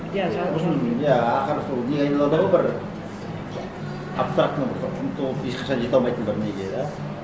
иә ақыры сол неге айналады ғой бір абстрактный бір ұмтылып ешқашан жете алмайтын бір неге да